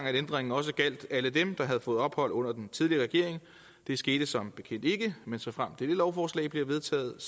ændringen også gjaldt alle dem der havde fået ophold under den tidligere regering det skete som bekendt ikke men såfremt dette lovforslag bliver vedtaget